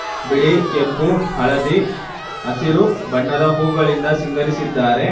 ಬಿಳಿ ಕೆಂಪು ಹಳದಿ ಹಸಿರು ಬಣ್ಣದ ಹೂಗಳಿಂದ ಸಿಂಗರಿಸಿದ್ದಾರೆ.